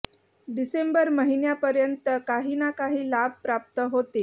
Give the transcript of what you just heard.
डिसेंबर महिन्यापर्यंत काही ना काही लाभ प्राप्त होतील